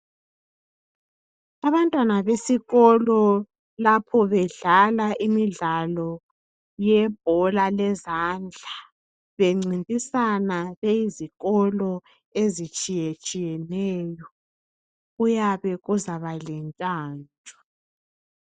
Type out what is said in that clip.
Abantwana besikolo lapho bedlala imidlalo yebhola lezandla, bencintisana beyizikolo ezitshiyetshiyeneyo . Kuyabe kuzaba lentshantshu.